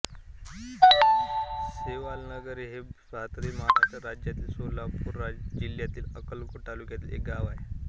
सेवालालनगर हे भारतातील महाराष्ट्र राज्यातील सोलापूर जिल्ह्यातील अक्कलकोट तालुक्यातील एक गाव आहे